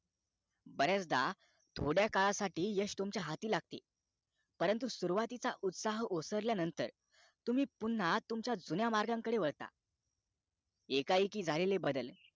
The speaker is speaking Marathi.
बऱ्याचदा थोड्या काळासाठी यश तुमच्या हाती लागते परंतु सुरवातीचा उत्साह ओसरला नंतर तुम्ही पुन्हा तुमच्या जुन्या मार्ग कडे वळता एक एकी झालेले बदल